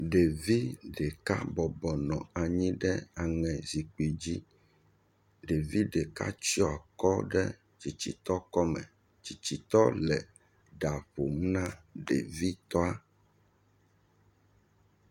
Ɖevi ɖeka bɔbɔnɔ anyi ɖe aŋɛ zikpui dzi. Ɖevi ɖeka tsɔe kɔ ɖe tsitsi tɔ ƒe akɔme. Tsitsi tɔa le ɖa ƒom na ɖevi toa.